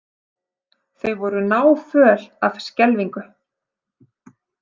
Þau voru náföl af skelfingu.